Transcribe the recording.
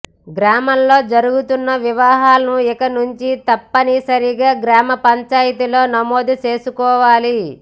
గ్రామాల్లో జరుగుతున్న వివాహాలను ఇక నుంచి తప్పని సరిగా గ్రామ పంచాయతీలో నమోదు చేసుకోవాలి